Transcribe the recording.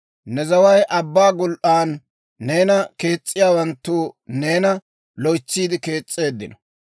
Ne zaway abbaa gul"aana; neena kees's'iyaawanttu neena loytsiide kees's'eeddino.